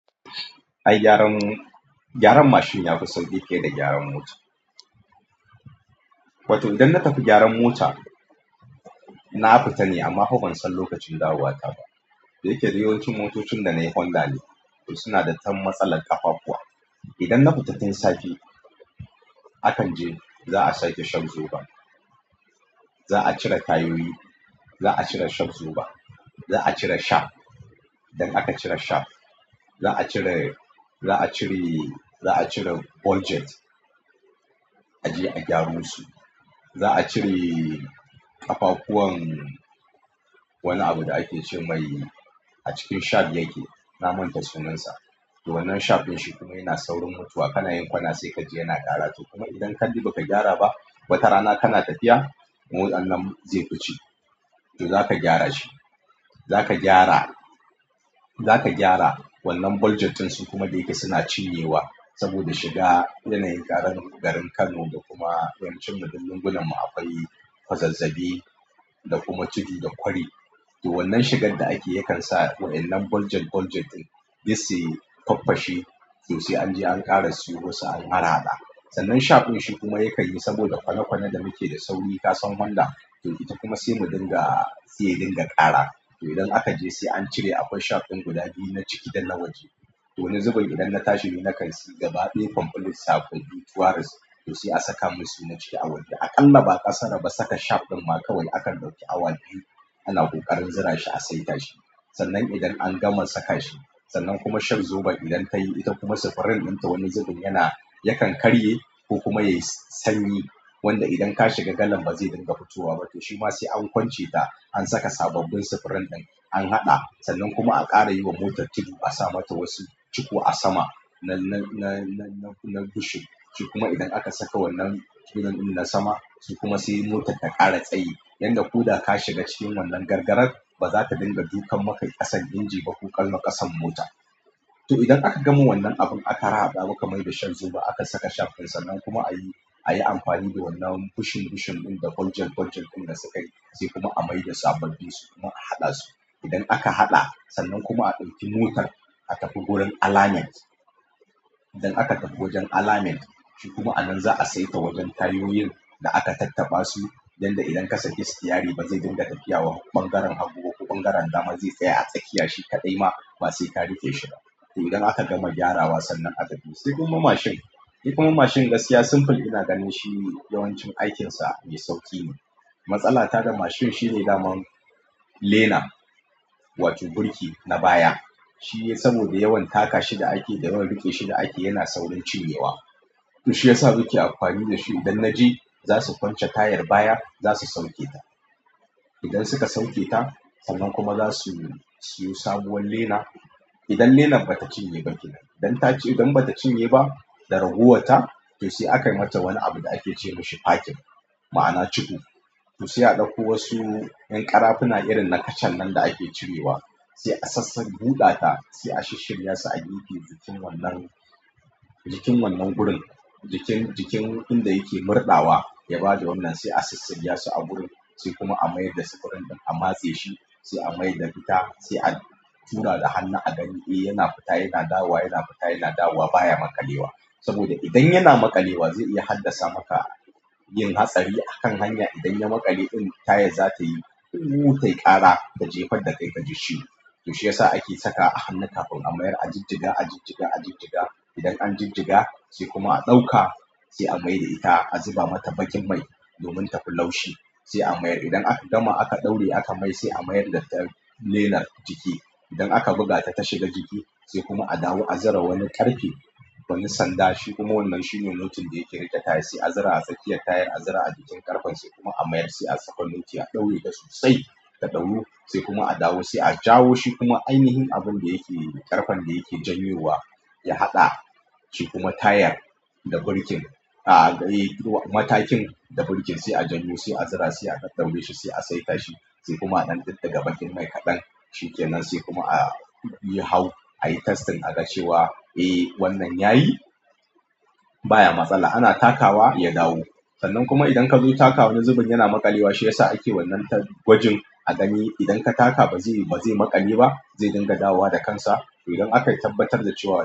Ai gyaran, gyran mashin yafi sauƙi fiye da gyaran mota. To, idan na tafi gyaran mota, na fita ne amma fa ban san lokacin dawowa ta ba. Dayake dayawancin motocin da na yi Honda ne to suna da dan matsalar ƙafafuwa. Idan na futa tin safe, akan je za a sa ke shag zoba, za a cire tayoyi, za a cire shag zoba, za a cire shag, idan aka cire shag za a cire, za a cire, za a cire boljet a je a gyara su. Za a cire ƙafafuwan, wani abu da ake ce mai a cikin shag yake. Na manta sunansa. To wannan shag ɗin shi kuma yana saurin mutuwa. Kana yin kwana sai kaji yana ƙara to kuma idan kalli ba ka gyara ba, bata rana kana tafiya, motan nan zai fi ce. To za ka gyara shi, za ka gyara, za ka gyara wannan boljet din su kuma dayake suna cinyewa saboda shiga yanayin ƙaramin garin Kano da kuma yanai cinna dillungunan mu akwai fazazzabi, da kuma tudu da kwari. To wannan shigar da ake yakan sa waɗannan boljet boljet ɗin, duk suyi faffashe. To sai anje an ƙara siyo wasu an ƙara hadawa. Sannan shag ɗin shi kuma ya yi saboda kwane kwane da muke da sauri. Ka san Honda, to ita kuma sai mu dinga, sai dinga ƙara. To idan aka je sai an cire akwai shag din guda biyu, na ciki da na waje. To wani zubin idan na tashi na karsi gaba ɗaya pamfilisa, to sai a saka musu na ciki a waje. A ƙalla ba ƙasara ba saka shag ɗin ma kawai aka ɗauki awa biyu ana ƙoƙarin zura shi a saita shi. Sannan idan an gama saka shi, sannan kuma shag zubar idan ta yi ita kuma sifirin ɗinta wani zubin yana, yakan karye ko kuma yayi sanyi wanda idan ka shiga galan ba zai dinga fitowa ba. To shi ma sai an kwance ta an saka sababbin sifirin ɗin an haɗa sannan kuma aka ƙara yiwa motar tudu. A sa mata wasu cuku a sama na, na, na, na bushing. Shi kuma idan aka saka wannan junan na sama shi kuma sai motar ta ƙara tsayi. Yanda koda ka shiga cikin wannan gargarar ba za ta dinga dukan maka ƙasan inji ba ko ƙallo ƙasan mota. To idan aka gama wannan abu a tara ɗa ba ka mai da shag zuba aka saka shag ɗin sannan kuma a yi, a yi amfani da wannan bushing bushing ɗin da boljet boljet ɗin da sukayi zai kuma a mai da sabobbi su kuma a haɗa su. Idan aka haɗa sannan kuma aka ɗauki motar a tafi gurin alignment. Idannaka tafi wajen alamen shikuma anan za'a seta wajen tayoyin da aka tattabasu yan da idan ka saki sitiyari bazai dinga tafiya bangaren hagu ko dama ba zai tsaya a tsakiya shikadai ma basai ka rikeshi ba to idan aka gama gyarawa sai a tafi. Sai kuma mashin, yi kuma mashin gaskiya simple ina ganin shi yawancin aikinsa mai sauƙi ne. Matsalata da mashin shine daman lena wato birki na baya. Shi ne saboda yawan taka shi da ake da kuma riƙe shi da ake yana saurin cinyewa. To shi yasa muke amfani da shi idan na je za su kwance tayar baya za su sauketa. Idan suka sauketa sannan kuma za su siyo sabuwar lena. Idan lena ba ta cinye ba tun nan. Idan ta ci, idan bata cinye ba da ragowar ta to sai aka mata wani abu da ake ce masa parking ma'ana ciɓu. To sai a ɗauko wasu ƴan ƙarafuna irin na kacan nan da ake cirewa sai a sassak buɗa ta sai a shirya su a yi ke jikin wannan, jikin wannan gurin jikin, jikin inda yake murɗawa ya bada wannan sai a shissiriya su a gurin sai kuma a mayar da sifirin ɗin a matse shi sai a mai da ita sai a tuna da hannu a gani. Eh yana fita yana dawowa, yana fita yana dawowa baya maƙalewa saboda idan yana maƙalewa zai iya haddasa maka yin hatsari a kan hanya. Idan ya maƙale in tayar za ta yi, ta ƙara da jefar da ka giji ciwo. To shi yasa ake saka hannu kafin a mayar, a jibjiga, a jibjiga, a jibjiga. Idan an jibjiga sai kuma a ɗauka sai a mai da ita a zuba mata bakin mai domin tafi laushi sai a mayar. Idan aka gama aka ɗauri aka mai sai a mayar da tayar lena ciki. Idan aka buga ta ta shiga ciki sai kuma a dawo a zura wani ƙarfe, wani sanda shi kuma wannan shine nutin da yake riƙe tayar sai a zura a tsakiya tayar a zura a jikin ƙarfen sai kuma a mayar sai a saka noti a ɗaure dasu sai ka ɗauko sai kuma a dawo sai a jawo shi kuma ainihin abun da yake ƙarfen da yake janyewa ya haɗa shi kuma tayar da birkin, a, a, yi, matakin da birkin sai a janyo sai a zura sai aka ɗaure shi sai a saita shi sai kuma a diddiga bakin mai kaɗan shikenan sai kuma a yahau ayi testin aga cewa, eh wannan yayi ba matsala yana takawa ya dawo. Sannan kuma idan ka zo takawa wani zubin yana maƙalewa shi yasa ake wannan ta gwajin a gani idan ka taka ba zai, ba zai maƙale ba zai dinga dawowa da kansa. To idan aka tabbatar da cewa.